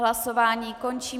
Hlasování končím.